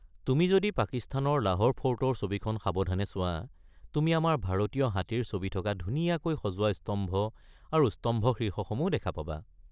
তুমি যদি পাকিস্তানৰ লাহোৰ ফৰ্টৰ ছবিখন সাৱধানে চোৱা তুমি আমাৰ ভাৰতীয় হাতীৰ ছবি থকা ধুনীয়াকৈ সজোৱা স্তম্ভ আৰু স্তম্ভশীৰ্ষসমূহ দেখা পাবা।